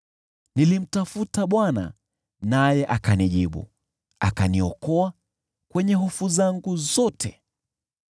Nilimtafuta Bwana naye akanijibu, akaniokoa kwenye hofu zangu zote.